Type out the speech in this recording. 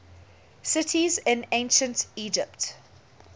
cities in ancient egypt